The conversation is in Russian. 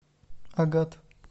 агат